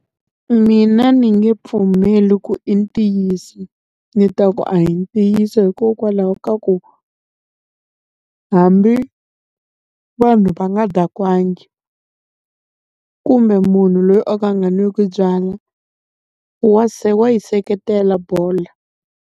Mina ni nge pfumeli ku i ntiyiso, ni ta ku a hi ntiyiso hikokwalaho ka ku hambi vanhu va nga dakwangi, kumbe munhu loyi o ka a nga n'wiku byala wa wa yi seketela bolo.